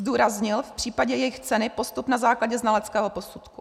Zdůraznil v případě jejich ceny postup na základě znaleckého posudku.